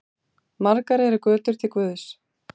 Margar eru götur til guðs.